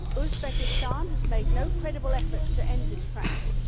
Uzbekistan has made no credible efforts to end this practice.